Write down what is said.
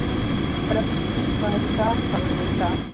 Brestir, hvað er í dagatalinu í dag?